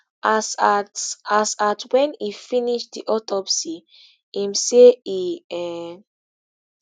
as at as at wen e finish di autopsy im say e um